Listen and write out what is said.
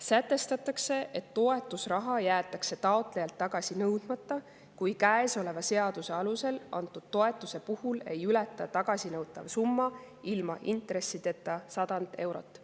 Sätestatakse, et toetusraha jäetakse taotlejalt tagasi nõudmata, kui käesoleva seaduse alusel antud toetuse puhul ei ületa tagasinõutav summa ilma intressideta 100 eurot.